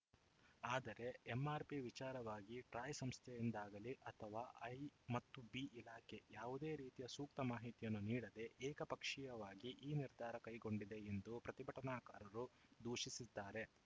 ಆದರೆ ಎಂಆರ್‌ಪಿ ವಿಚಾರವಾಗಿ ಟ್ರಾಯ್‌ ಸಂಸ್ಥೆಯಿಂದಾಗಲಿ ಅಥವಾ ಐ ಮತ್ತು ಬಿ ಇಲಾಖೆ ಯಾವುದೇ ರೀತಿಯ ಸೂಕ್ತ ಮಾಹಿತಿಯನ್ನು ನೀಡದೇ ಏಕಪಕ್ಷೀಯವಾಗಿ ಈ ನಿರ್ಧಾರ ಕೈಗೊಂಡಿದೆ ಎಂದು ಪ್ರತಿಭಟನಾಕಾರರು ದೂಷಿಸಿದ್ದಾರೆ